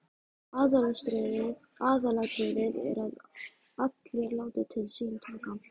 Aðalatriðið er að allir láti til sín taka.